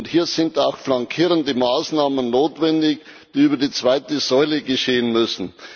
Hier sind auch flankierende Maßnahmen notwendig, die über die zweite Säule geschehen müssen.